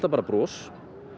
bara bros